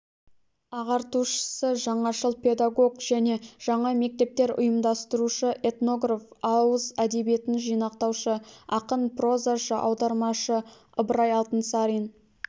ағартушысы жаңашыл-педагог және жаңа мектептер ұйымдастырушы этнограф ауыз әдебиетін жинақтаушы ақын прозашы аудармашы ыбырай алтынсарин